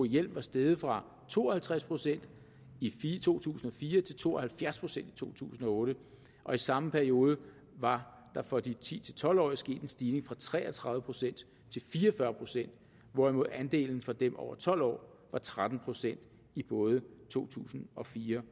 hjelm var steget fra to og halvtreds procent i to tusind og fire til to og halvfjerds procent i to tusind og otte og i samme periode var der for de ti til tolv årige sket en stigning fra tre og tredive procent til fire og fyrre pct hvorimod andelen for dem over tolv år var tretten procent i både to tusind og fire